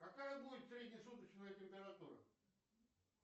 какая будет среднесуточная температура